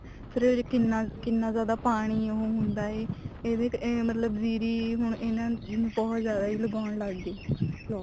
ਫ਼ੇਰ ਉਹ ਕਿੰਨਾ ਕਿੰਨਾ ਜਿਆਦਾ ਪਾਣੀ ਉਹ ਹੁੰਦਾ ਹੈ ਇਹਦੇ ਚ ਮਤਲਬ ਜੀਰੀ ਹੁਣ ਇਹਨਾ ਬਹੁਤ ਜਿਆਦਾ ਹੀ ਲਗਾਉਣ ਲੱਗ ਗਏ